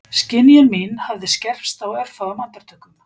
Skynjun mín hafði skerpst á örfáum andartökum